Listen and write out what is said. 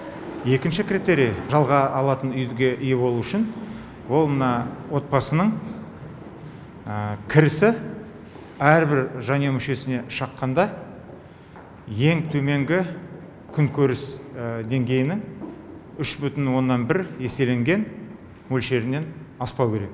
екінші критерий жалға алатын үйге ие болу үшін ол мына отбасының кірісі әрбір жанұя мүшесіне шаққанда ең төменгі күнкөріс деңгейінің үш бүтін оннан бір еселенген мөлшерінен аспау керек